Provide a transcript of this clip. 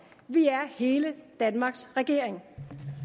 vi er hele danmarks regering